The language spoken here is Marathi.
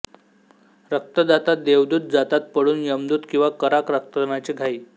रक्तदाता देवदूत जातात पळून यमदूत किंवा करा रक्तदानाची घाई